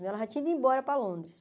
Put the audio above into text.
Ela já tinha ido embora para Londres.